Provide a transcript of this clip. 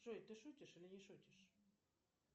джой ты шутишь или не шутишь